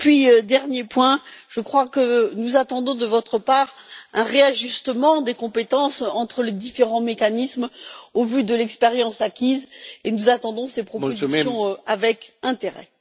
Enfin, dernier point, je crois que nous attendons de votre part un réajustement des compétences entre les différents mécanismes au vu de l'expérience acquise. Nous attendons ces propositions avec intérêt.